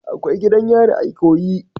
Akwai gidan yari a ikoyi.